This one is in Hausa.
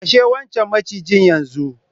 Kashe wancan macijin yanzu!